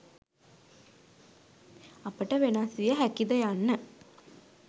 අපට වෙනස් විය හැකි ද යන්න